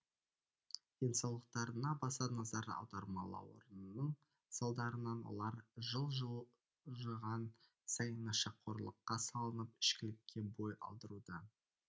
денсаулықтарына баса назар аудармауларының салдарынан олар жыл жылжыған сайын нашақорлыққа салынып ішкілікке бой алдыруда